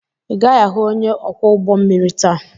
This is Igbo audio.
Ị gaghị ahụ onye ọkwọ ụgbọ mmiri taa!